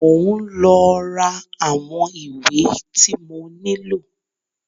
Mọ ń lọ rà àwọn ìwé tí mo nílò.